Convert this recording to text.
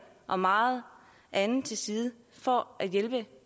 og meget andet til side for at hjælpe